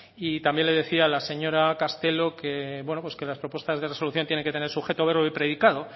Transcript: y también le decía la señora castelo que las propuestas de resolución tienen que tener sujeto verbo y predicado